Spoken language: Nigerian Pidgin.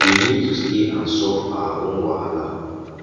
we need to stay and solve our own wahala